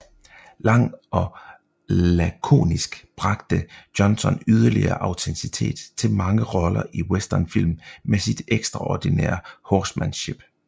Lang og lakonisk bragte Johnson yderligere autenticitet til mange roller i Westernfilm med sit ekstraordinære horsemanship